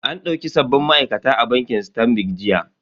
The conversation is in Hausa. An dauki sabbin ma'aikata a bankin sitanbi jiya.